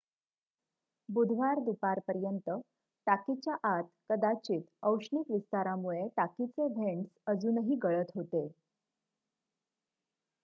बुधवार दुपारपर्यंत टाकीच्या आत कदाचित औष्णिक विस्तारामुळे टाकीचे व्हेंट्स अजूनही गळत होते